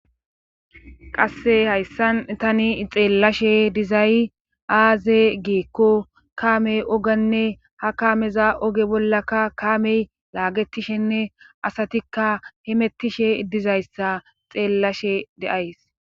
qasse hayssan tani xeellashe dizay aaze geekko kaamey ogenne ha kaameza oge bollaka kaamey laagetishenne asatikka himettishe idizayssa xeellashe deays